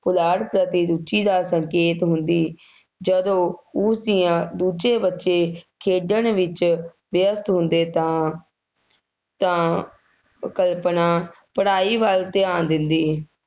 ਪੁਲਾੜ ਪ੍ਰਤੀ ਰੁਚੀ ਦਾ ਸੰਕੇਤ ਹੁੰਦੀ, ਜਦੋਂ ਉਸ ਦੀਆਂ, ਦੂਜੇ ਬੱਚੇ ਖੇਡਣ ਵਿੱਚ ਵਿਅਸਤ ਹੁੰਦੇ ਤਾਂ, ਤਾਂ ਕਲਪਨਾ ਪੜ੍ਹਾਈ ਵੱਲ ਧਿਆਨ ਦਿੰਦੀ।